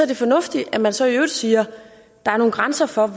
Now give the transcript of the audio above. det fornuftigt at man så i øvrigt siger at der er nogle grænser for